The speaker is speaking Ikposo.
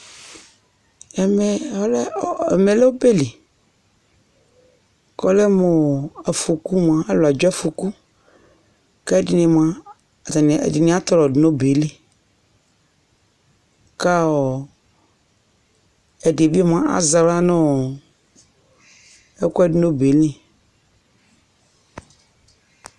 Ɛmɛ ɔlɛ, ɛmɛ lɛ ɔ ɔbɛ li kʋ ɔlɛ mʋ ɔ, afɔku mʋa, alʋ adza afɔku kʋ ɛdɩnɩ mʋa, atanɩ ɛdɩnɩ atɔlɔdʋ nʋ ɔbɛ yɛ li kʋ ɔ ɛdɩ bɩ mʋa, azɛ aɣla nʋ ɔ ɛkʋɛdɩ nʋ ɔbɛ yɛ li